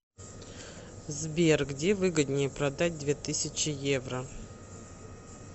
сбер где выгоднее продать две тысячи евро